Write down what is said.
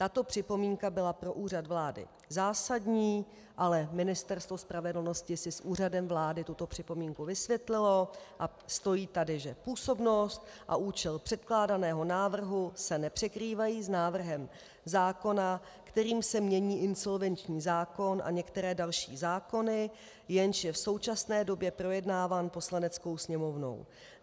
Tato připomínka byla pro Úřad vlády zásadní, ale Ministerstvo spravedlnosti si s Úřadem vlády tuto připomínku vysvětlilo a stojí tady, že působnost a účel předkládaného návrhu se nepřekrývají s návrhem zákona, kterým se mění insolvenční zákon a některé další zákony, jenž je v současné době projednáván Poslaneckou sněmovnou.